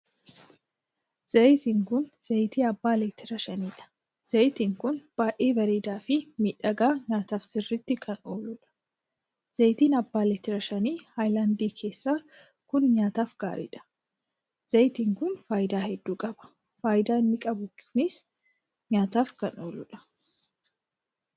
Zayitiin kun zayitii abbaa leetira shaniidha. zayitiin kun baay'ee bareedaa Fi miidhagaa nyaataaf sirriitti kan ooluudha. zayitiin abbaa leetira shanii hayilaandii keessaa kun nyaataaf gaariidha. zayitiin kun faayidaa hedduu qaba faayidaa inni qabu kunis nyaataaf kan ooludha.